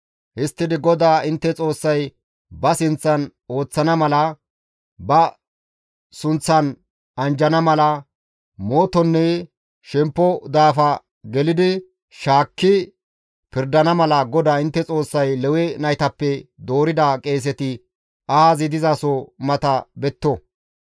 Histtidi GODAA intte Xoossay ba sinththan ooththana mala, ba sunththan anjjana mala, mootonne shemppo daafa gelidi shaakki pirdana mala GODAA intte Xoossay Lewe naytappe doorida qeeseti ahazi dizaso mata betto.